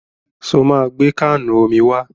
Ṣo máa gbé káànù omi wá?